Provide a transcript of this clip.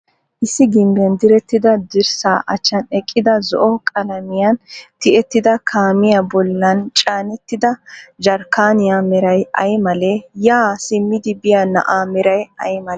issi gimbbiyan direttida dirssaa achchan eqqida zo'o qalamiyan tiyettida kaamiya bollan caanettida jarkkaaniya meray ay malee? yaa simmidi biya na'aa meray ay malee?